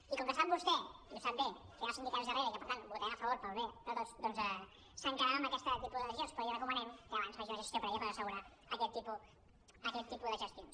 i com que sap vostè i ho sap bé que hi han els sindicats darrere i que per tant hi votarem a favor pel bé de tots doncs s’ha quedat amb aquest tipus de decisions però li recomanem que abans faci una gestió prèvia per assegurar aquest tipus de gestions